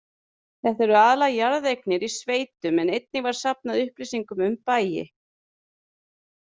Þetta eru aðallega jarðeignir í sveitum en einnig var safnað upplýsingum um bæi.